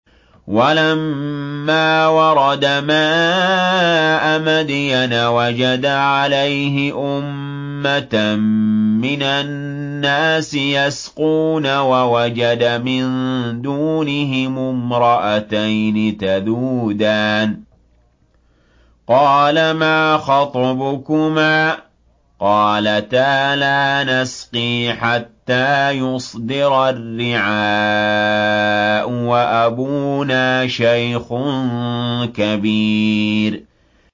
وَلَمَّا وَرَدَ مَاءَ مَدْيَنَ وَجَدَ عَلَيْهِ أُمَّةً مِّنَ النَّاسِ يَسْقُونَ وَوَجَدَ مِن دُونِهِمُ امْرَأَتَيْنِ تَذُودَانِ ۖ قَالَ مَا خَطْبُكُمَا ۖ قَالَتَا لَا نَسْقِي حَتَّىٰ يُصْدِرَ الرِّعَاءُ ۖ وَأَبُونَا شَيْخٌ كَبِيرٌ